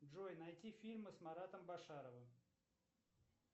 джой найти фильмы с маратом башаровым